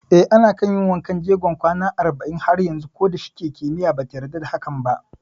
Eh, ana kan yin wankan jegon kwana arba'in har yanzu koda shike kimiyya bata yarda da yin hakan ba